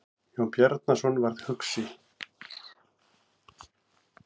Jón Bjarnason varð hugsi.